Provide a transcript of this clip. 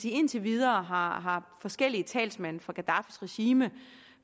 indtil videre har forskellige talsmænd for gaddafis regime